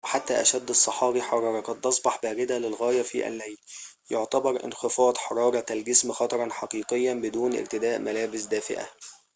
وحتى أشد الصحاري حرارة قد تصبح باردة للغاية في الليل يعتبر انخفاض حرارة الجسم خطراً حقيقياً بدون ارتداء ملابس دافئة